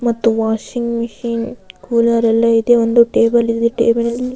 ಮತ್ತು washing machine cooler ಎಲ್ಲ ಇದೆ ಒಂದು ಟೇಬಲ್ ಇದೆ ಟೇಬಲ್ ಅಲ್ಲಿ --